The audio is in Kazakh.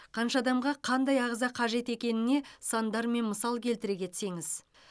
қанша адамға қандай ағза қажет екеніне сандармен мысал келтіре кетсеңіз